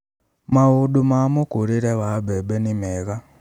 Maundũ ma mũkũrĩre wa mbembe nĩ meega